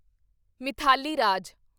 Mithali Raj